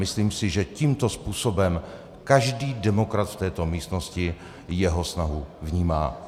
Myslím si, že tímto způsobem každý demokrat v této místnosti jeho snahu vnímá.